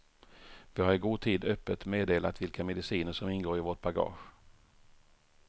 Vi har i god tid öppet meddelat vilka mediciner som ingår i vårt bagage.